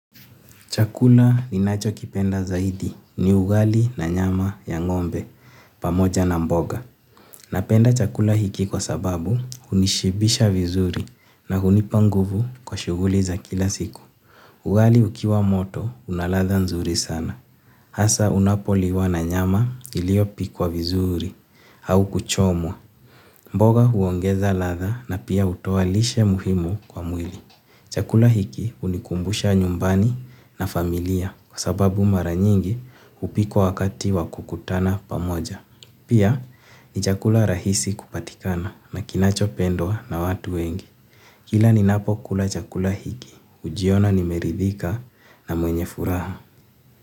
Chakula ninacho kipenda zaidi ni ugali na nyama ya ng"ombe pamoja na mboga. Napenda chakula hiki kwa sababu hunishibisha vizuri na hunipa nguvu kwa shuguli za kila siku. Ugali ukiwa moto unalatha nzuri sana. Asa unapoliwa na nyama iliyopikwa vizuri au kuchomwa. Mboga huongeza latha na pia utoa lishe muhimu kwa mwili. Chakula hiki hunikumbusha nyumbani na familia kwa sababu mara nyingi hupikwa wakati wakukutana pamoja. Pia ni chakula rahisi kupatikana na kinacho pendwa na watu wengi. Kila ninapo kula chakula hiki, hujiona nimeridhika na mwenye furaha.